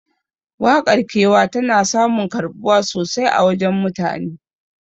Waƙar kewa tana samun karɓuwa sosai a wajen mutane